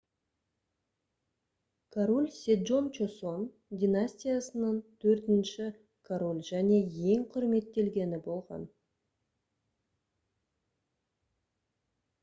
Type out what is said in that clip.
король седжон чосон династиясынан төртінші король және ең құрметтелгені болған